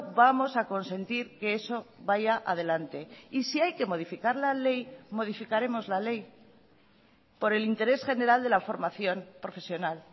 vamos a consentir que eso vaya adelante y si hay que modificar la ley modificaremos la ley por el interés general de la formación profesional